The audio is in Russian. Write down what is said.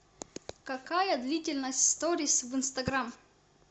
какая длительность сторис в инстаграм